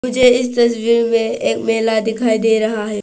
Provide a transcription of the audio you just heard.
मुझे इस तस्वीर में एक मेला दिखाई दे रहा है।